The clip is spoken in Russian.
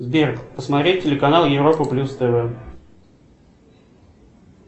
сбер посмотреть телеканал европа плюс тв